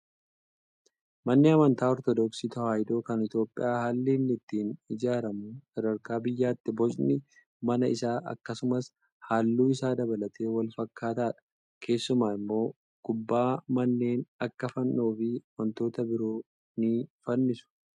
Manni amantaa ortodoksii tawaahidoo kan Itoophiyaa haalli inni ittiin ijaaramu sadarkaa biyyaatti bocni mana isaa akkasumas halluu isaa dabalatee wal fakkaataadha. Keessumaa immoo gubbaa manneen akka fannoo fi wantoota biroo ni fannisu.